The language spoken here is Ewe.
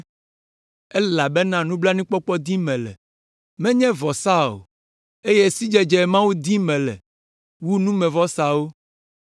elabena nublanuikpɔkpɔ dim mele, menye vɔsa o, eye sidzedze Mawu dim mele wu numevɔsawo,